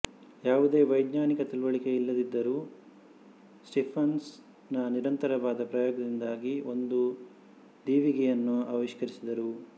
ಯಾವುದೇ ವೈಜ್ಞಾನಿಕ ತಿಳಿವಳಿಕೆ ಇಲ್ಲದಿದ್ದರೂ ಸ್ಟಿಫನ್ಸನ್ ನಿರಂತರವಾದ ಪ್ರಯೋಗದಿಂದಾಗಿ ಒಂದು ದೀವಿಗೆಯನ್ನು ಆವಿಷ್ಕರಿಸಿದರು